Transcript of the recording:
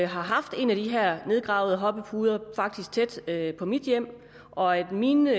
har haft en af de her nedgravede hoppepuder tæt på mit hjem og at mine